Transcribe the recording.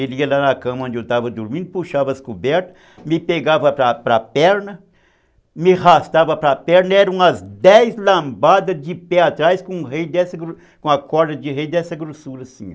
Ele ia lá na cama onde eu estava dormindo, puxava as cobertas, me pegava para para a perna, me arrastava pela a perna, eram umas dez lambadas de pé atrás com a corda de rei dessa grossura assim.